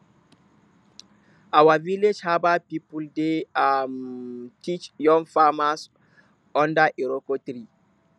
our village herbal people dey um teach young farmers under iroko tree